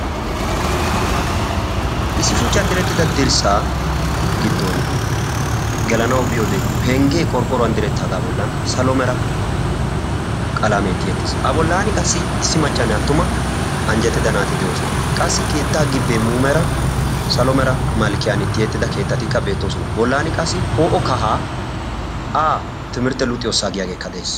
Issi shuchchan direttida dirssaa giddooni gelanawu biyoobe penggee qorqoruwan direttaagaa bollan salo mera qalamee tiyetti uttis a bollaani qassi issi maccanne atuma anjjetida naati de'oosona qassi keettaa gibbee muumeera salo mera malkkiyaani tiyettida keettatikka beettosona bolani qassi ppo'o kahaa a timirtte luxiyoossa giyaageeka des.